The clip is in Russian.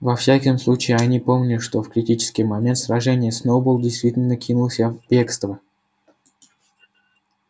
во всяком случае они помнили что в критический момент сражения сноуболл действительно кинулся в бегство